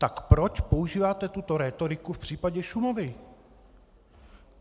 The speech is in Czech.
Tak proč používáte tuto rétoriku v případě Šumavy?